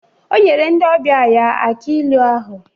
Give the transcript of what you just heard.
O nyere ndi ọbịa ya aki ilu ahụ.